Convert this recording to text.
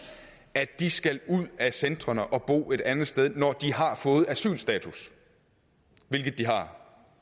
at de skal ud af centrene og bo et andet sted når de har fået asylstatus hvilket de har